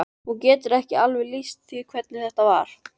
Hún getur ekki alveg lýst því hvernig þetta var.